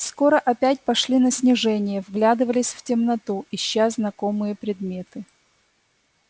скоро опять пошли на снижение вглядывались в темноту ища знакомые предметы